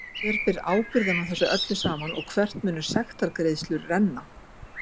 Hver ber ábyrgð á þessu öllu saman og hvert munu sektargreiðslur renna?